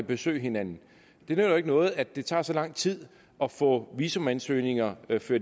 besøge hinanden det nytter jo ikke noget at det tager så lang tid at få visumansøgninger